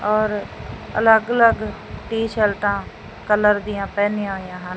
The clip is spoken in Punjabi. ਔਰ ਅਲੱਗ ਅਲੱਗ ਟੀ_ਸ਼ਰਟਾਂ ਕਲਰ ਦੀਆਂ ਪਹਿਨੀਆਂ ਹੋਈਆਂ ਹਨ।